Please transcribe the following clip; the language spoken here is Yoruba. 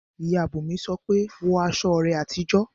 Ìyá Bùnmi sọ pé "wọ aṣọ rẹ àtijọ́!"